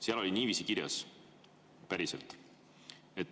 Seal oli niiviisi kirjas, päriselt.